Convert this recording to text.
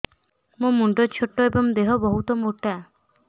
ମୋ ମୁଣ୍ଡ ଛୋଟ ଏଵଂ ଦେହ ବହୁତ ମୋଟା